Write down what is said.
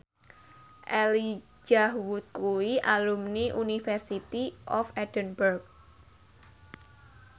Elijah Wood kuwi alumni University of Edinburgh